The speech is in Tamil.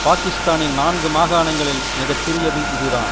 பாக்கிஸ்தானின் நான்கு மாகாணங்களில் மிக சிறியது இது தான்